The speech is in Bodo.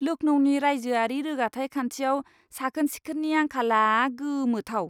लखनौनि रायजोआरि रोगाथाइ खान्थियाव साखोन सिखोननि आंखाला गोमोथाव।